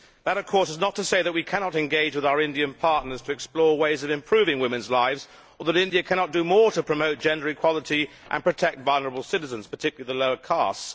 That of course is not to say that we cannot engage with our Indian partners to explore ways of improving women's lives, or that India cannot do more to promote gender equality and protect vulnerable citizens, particularly the lower castes.